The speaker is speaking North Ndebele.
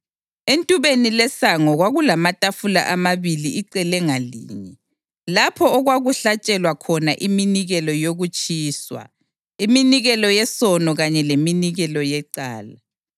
Entubeni lesango kwakulamatafula amabili icele ngalinye, lapho okwakuhlatshelwa khona iminikelo yokutshiswa, iminikelo yesono kanye leminikelo yecala.